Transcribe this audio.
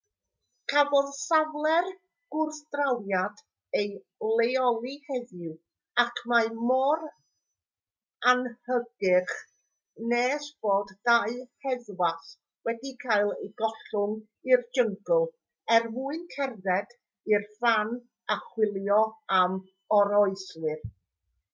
cafodd safle'r gwrthdrawiad ei leoli heddiw ac mae mor anhygyrch nes bod dau heddwas wedi cael eu gollwng i'r jyngl er mwyn cerdded i'r fan a chwilio am oroeswyr